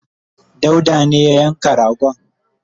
dauda ne ya yanka kanza